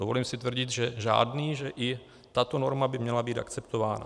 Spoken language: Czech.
Dovolím si tvrdit, že žádný, že i tato norma by měla být akceptována.